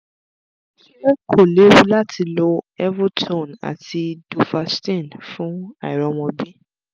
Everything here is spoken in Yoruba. ṣé kò lewu lati lo evotone àti duphaston fun àìrọmọ́bi?